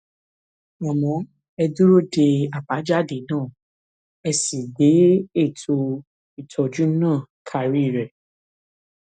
àmọ ẹ dúró de àbájáde náà ẹ sì gbé ètò ìtọjú náà karí rẹ